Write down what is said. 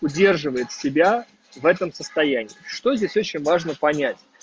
удерживает себя в этом состоянии что здесь очень важно понять